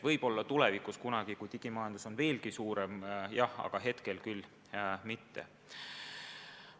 Võib-olla tulevikus kunagi, kui digimajandus on veelgi suurem, jah, aga praegu küll mitte.